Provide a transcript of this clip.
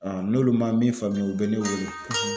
n'olu ma min faamuya u bɛ ne weele